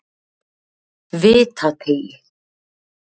Vitateigi